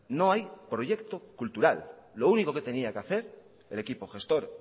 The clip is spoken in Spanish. no hay proyecto cultural lo único que tenía que hacer el equipo gestor